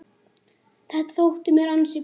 Þetta þótti mér ansi gott.